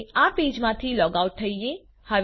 હવે આ પેજમાંથી લૉગ આઉટ થઈએ